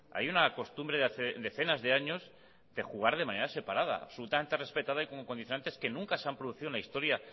hay una costumbre de hace decenas de años de jugar de manera separada absolutamente respetada y con condicionantes de nunca se han producido en la historia